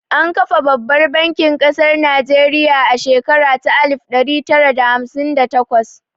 An kafa babbar bankin ƙasar Najeriya a shekara ta alif ɗari tara da hamsin da takwas